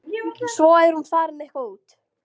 Svo er hún farin eitthvað út.